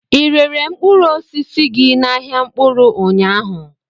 Ị rere mkpụrụ osisi gị n'ahịa mkpụrụ ụnyaahụ?